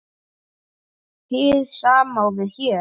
Hið sama á við hér.